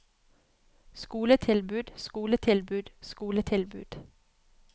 skoletilbud skoletilbud skoletilbud